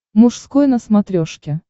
мужской на смотрешке